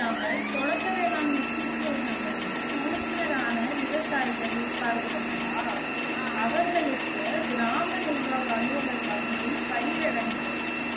இல்லாமல் தொடக்க வேளாண்மை கூட்டுறவு சங்கங்கள் உறுப்பினர் ஆனா விவசாயிகள் இருப்பார்கள் அல்லவா அவர்களுக்கு கிராம நிர்வாக அலுவலர் வழங்கும் பயிர்